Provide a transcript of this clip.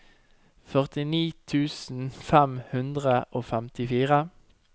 førtini tusen fem hundre og femtifire